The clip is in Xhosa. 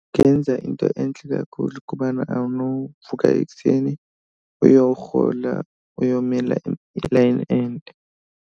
Yenza into entle kakhulu kuba awunovuka ekuseni uyowurhola uyomela ilayini ende.